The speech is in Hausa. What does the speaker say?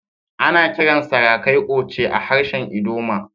Ana kiran sarakai "Oche" a harshen ldoma.